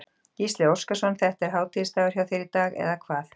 Gísli Óskarsson: Þetta er hátíðisdagur hjá þér í dag, eða hvað?